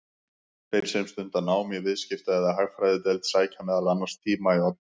Þeir sem stunda nám í Viðskipta- eða Hagfræðideild sækja meðal annars tíma í Odda.